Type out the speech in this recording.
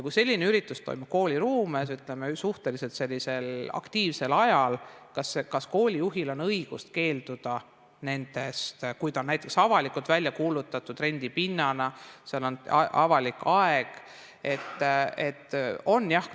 Kui selline üritus toimub kooli ruumes suhteliselt aktiivsel ajal, kas koolijuhil on õigus keelduda, kui see on näiteks avalikult välja kuulutatud rendipinnana ja on avalik aeg?